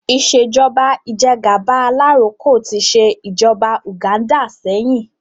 Ìṣèjọ́ba ìjẹ́gàba alaroko tí ṣe ìjọba Uganda sẹ́yìn